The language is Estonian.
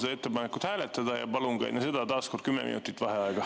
Palun ettepanekut hääletada ja palun enne seda taaskord 10 minutit vaheaega.